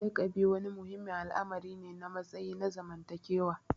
Lakabi wani muhimmin al'amari ne na matsayi na zamantakewa.